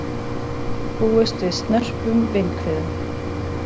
Búist við snörpum vindhviðum